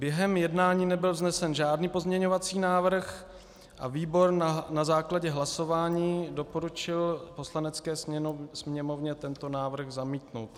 Během jednání nebyl vznesen žádný pozměňovací návrh a výbor na základě hlasování doporučil Poslanecké sněmovně tento návrh zamítnout.